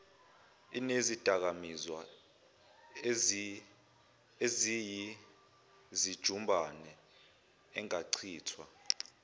inezidakamizwa eziyizijumbana engachithwa